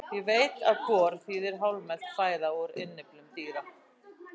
Ég veit að gor þýðir hálfmelt fæða úr innyflum dýra.